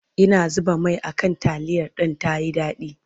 Ina zuba Mai a kan taliyar Dan tayi dadi